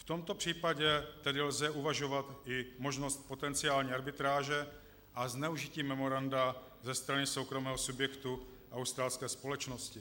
V tomto případě tedy lze uvažovat i možnost potenciální arbitráže a zneužití memoranda ze strany soukromého subjektu, australské společnosti.